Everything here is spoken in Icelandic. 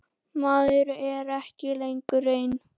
Maður er ekki lengur einn.